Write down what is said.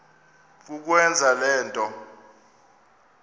kukwenza le nto